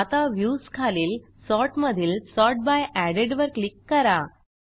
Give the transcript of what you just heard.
आता व्ह्यूज खालील सॉर्ट मधील सॉर्ट बाय एडेड वर क्लिक करा